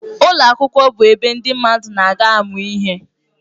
Ụlọ akwụkwọ bụ ebe ndị mmadụ na-aga amụ ihe.